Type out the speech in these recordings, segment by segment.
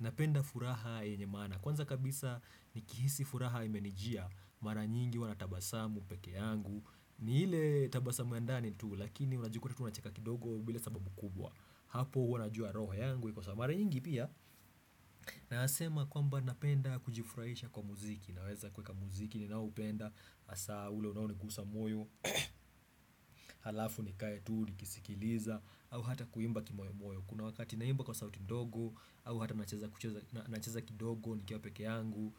napenda furaha yenye maana. Kwanza kabisa, nikihisi furaha imenijia mara nyingi huwa natabasamu peke yangu ni ile tabasamu ya ndani tu, lakini unajikuta tu unacheka kidogo bila sababu kubwa. Hapo wanajua roho yangu iko sawa mara nyingi pia Nayasema kwamba napenda kujifurahisha kwa muziki, naweza kuweka muziki ni naupenda asa ule unao nikusa moyo Halafu nikaye tu nikisikiliza au hata kuimba kimoyo moyo. Kuna wakati naimba kwa sauti ndogo au hata nacheza kidogo nikiwa peke yangu.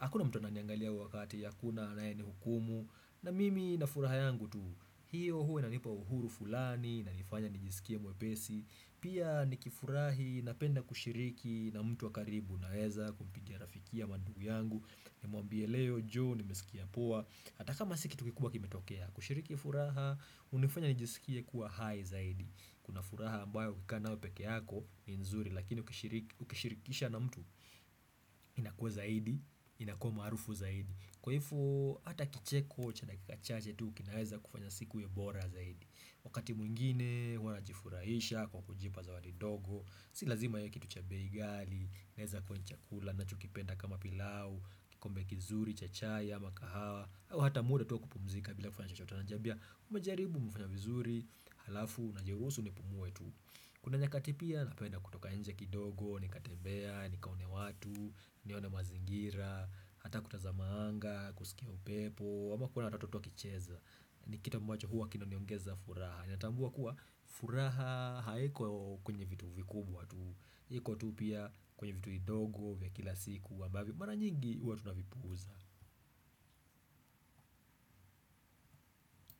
Hakuna mtu ana niangalia wakati, hakuna anaye ni hukumu na mimi na furaha yangu tu hiyo huwa na nipa uhuru fulani, naifanya nijisikia mwepesi. Pia nikifurahi napenda kushiriki na mtu wakaribu unaweza kumpitia rafiki ama ndugu yangu. Nimwambie leo joo nimesikia poa, hata kama si kitu kikubwa kimetokea kushiriki furaha unifanya nijisikie kuwa hai zaidi. Kuna furaha ambayo ukika nayo peke yako ni nzuri, lakini ukishirikisha na mtu inakua zaidi inakua marufu zaidi, kwa hivyo ata kicheko cha dakika cha tu kinaweza kufanya siku iwe bora zaidi. Wakati mwingine huwa najifurahisha kwa kujipa zawadi ndogo Si lazima iwe kitu cha bei gali, inaweza kuwa chakula, ninacho kipenda kama pilau, kikombe kizuri cha chai ama kahawa Ata muda tu wa kupumzika bila kufanya chochote, unajiambia ume jaribu umefanya vizuri, halafu na jerusu ni pumue tu Kuna nyakati pia napenda kutoka nje kidogo, nika tembea, nika one watu, nione mazingira, hata kutazama anga, kusikia upepo ama kuona watoto tu wakicheza. Ni kitu ambacho huwa kina niongeza furaha, nina tambua kuwa furaha haiko kwenye vitu vikubwa tu iko tu pia kwenye vitu idogo vya kila siku ambavyo mara nyingi huwa tuna vipuuza.